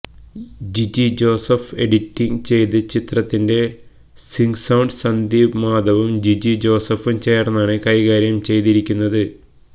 Jiji Joseph edit ചെയ്ത ചിത്രത്തിന്റെ sync sound Sandeep മാധവവും ജിജി ജോസഫും ചേര്ന്നാണ് കൈകാര്യം ചെയ്തിരിക്കുന്നത്